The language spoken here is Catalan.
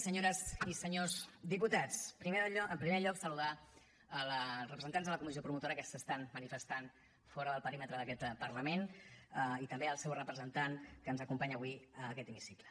senyores i senyors diputats en primer lloc saludar els representants de la comissió promotora que s’estan manifestant fora del perímetre d’aquest parlament i també el seu representant que ens acompanya avui en aquest hemicicle